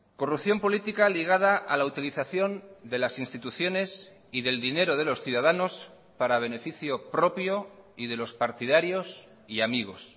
corrupción política ligada a la utilización de las instituciones y del dinero de los ciudadanos para beneficio propio y de los partidarios y amigos